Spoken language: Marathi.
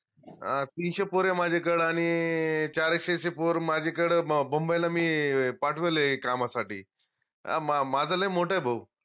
अं तीनशे पोर ए माझ्याकडं आनि चारक्षेचे पोर माझ्याकडं बम्बईला मी पाठवले कामासाठी माझं लय मोठ ए भाऊ